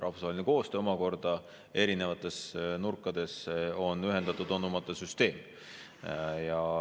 Rahvusvaheline koostöö omakorda erinevates nurkades on ühendatud anumate süsteem.